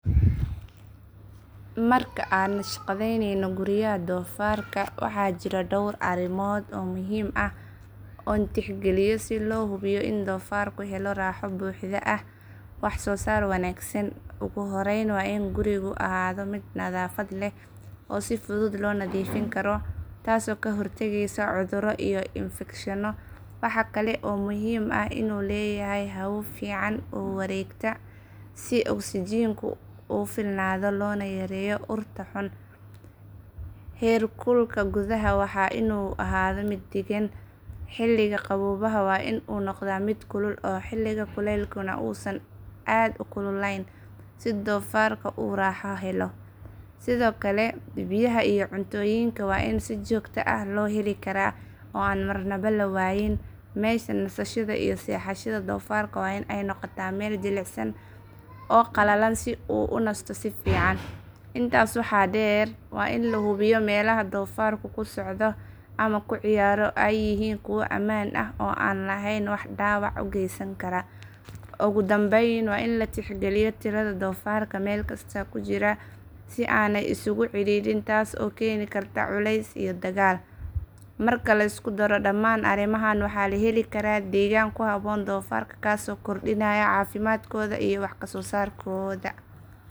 Marka aan naqshadaynayo guryaha doofarka waxa jira dhowr arrimood oo muhiim ah oo aan tixgeliyo si loo hubiyo in doofarku helo raaxo buuxda iyo wax soo saar wanaagsan. Ugu horreyn waa in gurigu ahaado mid nadaafad leh oo si fudud loo nadiifin karo, taasoo ka hortagaysa cudurro iyo infekshanno. Waxa kale oo muhiim ah in uu leeyahay hawo fiican oo wareegta si oksijiinku u filnaado loona yareeyo urta xun. Heerkulka gudaha waa in uu ahaado mid deggan, xilliga qaboobaha waa in uu noqdaa mid kulul oo xilliga kuleylkuna uusan aad u kululayn si doofarku u raaxo helo. Sidoo kale, biyaha iyo cuntooyinka waa in si joogto ah loo heli karaa oo aan marnaba la waayin. Meesha nasashada iyo seexashada doofarka waa in ay noqotaa meel jilicsan oo qalalan si uu u nasto si fiican. Intaa waxaa dheer, waa in la hubiyo in meelaha doofarku ku socdo ama ku ciyaaro ay yihiin kuwo ammaan ah oo aan lahayn wax dhaawac u geysan kara. Ugu dambayn, waa in la tixgeliyo tirada doofarka meel kasta ku jira si aanay isugu cidhiidhin taas oo keeni karta culeys iyo dagaal. Marka la isku daro dhamaan arrimahan, waxaa la heli karaa deegaan ku habboon doofarka kaasoo kordhinaya caafimaadkooda iyo wax soo saarkooda.